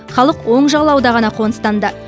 халық оң жағалауда ғана қоныстанды